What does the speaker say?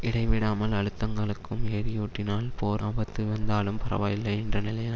இடைவிடாமல் அழுத்தங்களுக்கும் எரியூட்டினால் போர் ஆபத்து வந்தாலும் பரவாயில்லை என்ற நிலையில்